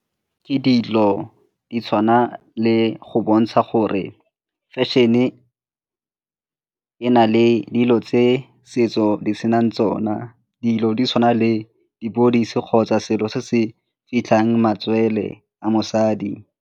Ke dilo di tshwana le go bontsha gore fashion-e e na le dilo tse setso di senang tsona, dilo di tshwana le di kgotsa selo se se fitlhang matswele a mosadi.